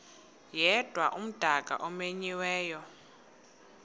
yedwa umdaka omenyiweyo